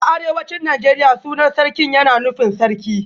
A arewacin Najeriya sunan Sarkin yana nufin Sarki